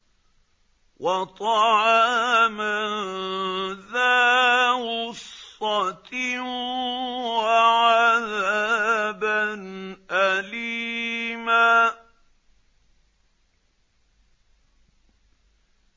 وَطَعَامًا ذَا غُصَّةٍ وَعَذَابًا أَلِيمًا